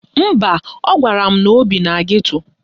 Mba, ọ gwara m na o bi na geto.